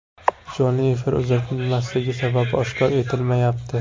Jonli efir uzatilmasligi sababi oshkor etilmayapti.